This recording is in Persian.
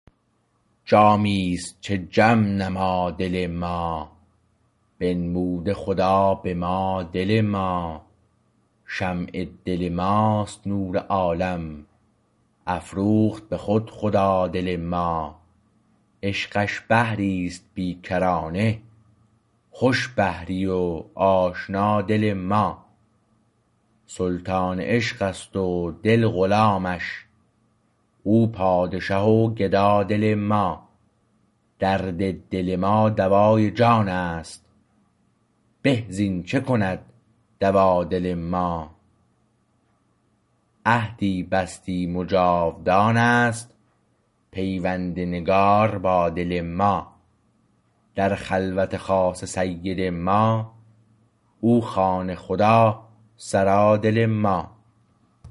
جامیست چه جم نما دل ما بنموده خدا به ما دل ما شمع دل ماست نور عالم افروخت به خود خدا دل ما عشقش بحریست بیکرانه خوش بحری و آشنا دل ما سلطان عشقست و دل غلامش او پادشه و گدا دل ما درد دل ما دوای جان است به زین چه کند دوا دل ما عهدی بستیم و جاودان است پیوند نگار با دل ما در خلوت خاص سید ما او خانه خدا سرا دل ما